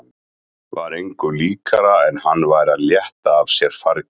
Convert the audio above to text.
Var engu líkara en hann væri að létta af sér fargi.